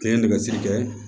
N ye nɛgɛsigi kɛ